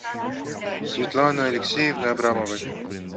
светланы алексеевны абрамовой